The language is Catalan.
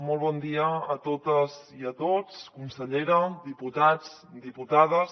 molt bon dia a totes i a tots consellera diputats diputades